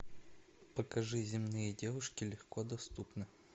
покажи земные девушки легко доступны